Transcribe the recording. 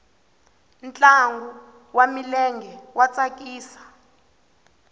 ntlangu wa milenge wa tsakisa